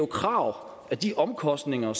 krav at de omkostninger